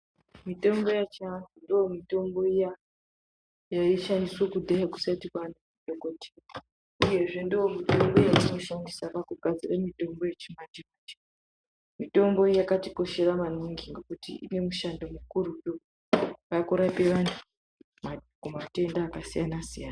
Mitombo yechianhu ndoomitombo iya yaishandiswa kudhaya kusati kwaane mikoti uye zve ndoomitombo yatinoshandisa pakugadzara mitombo yechimanje manje. Mitombo iyi yakatikoshera maningi ngekuti ine mishando mikurutu yekurape vantu kumatenda akasiyana siyana.